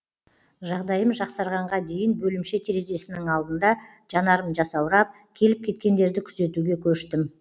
жағдайым жақсарғанға дейін бөлімше терезесінің алдында жанарым жасаурап келіп кеткендерді күзетуге көштім